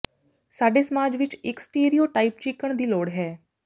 ਸਾਡੇ ਸਮਾਜ ਵਿਚ ਇਕ ਸਟੀਰੀਓਟਾਈਪ ਚੀਕਣ ਦੀ ਲੋੜ ਹੈ